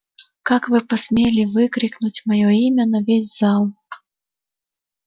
как вы посмели выкрикнуть моё имя на весь зал